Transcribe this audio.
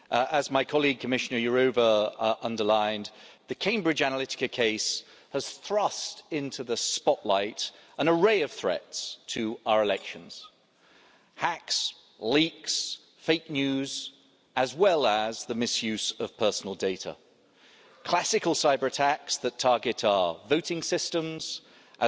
As my colleague, Commissioner Jourová, underlined, the Cambridge Analytica case has thrust into the spotlight an array of threats to our elections hacks, leaks, fake news, as well as the misuse of personal data, classical cyber-attacks that target our voting systems and